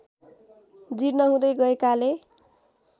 जिर्ण हुँदै गएकाले